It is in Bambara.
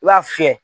I b'a fiyɛ